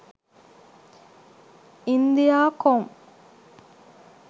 india com